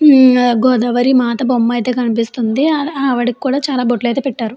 ఉమ్ గోదావరి మాత బొమ్మ అయితే కనిపిస్తుంది. ఆ ఆ ఆవిడకి కూడా చాలా బట్లయితే పెట్టారు.